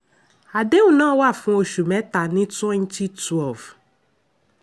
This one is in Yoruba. àdéhùn náà wà fún oṣù mẹ́ta ní 2012.